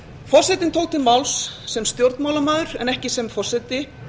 forsetinn tók til máls sem stjórnmálamaður en ekki sem forseti